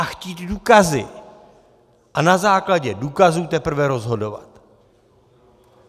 A chtít důkazy a na základě důkazů teprve rozhodovat.